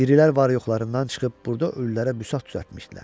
Dirilər var-yoxlarından çıxıb burda ölülərə büsat düzəltmişdilər.